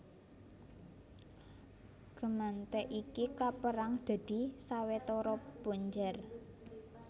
Gemeente iki kapérang dadi sawetara punjer